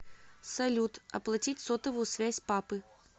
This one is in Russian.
салют оплатить сотовую связь папы